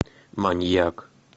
маньяк